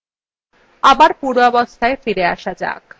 আবার পূর্বাবস্থায় ফিরে আসা যাক